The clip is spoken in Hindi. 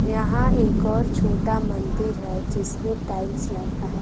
यहां एक और छोटा मंदिर है जिसमें टाइल्स लगा है।